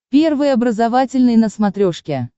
первый образовательный на смотрешке